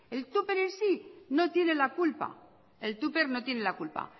el tupper en sí no tiene la culpa